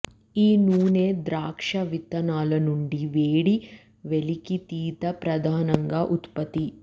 ఈ నూనె ద్రాక్ష విత్తనాలు నుండి వేడి వెలికితీత ప్రధానంగా ఉత్పత్తి